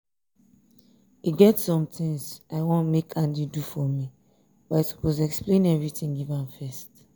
e get some things i wan make andy do for me but i suppose explain everything give am first